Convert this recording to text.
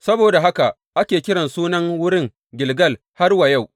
Saboda haka ake kiran sunan wurin Gilgal har wa yau.